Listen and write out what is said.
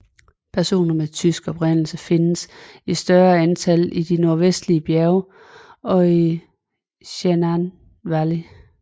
Personer med tysk oprindelse findes i større antal i de nordvestlige bjerge og i Shenandoah Valley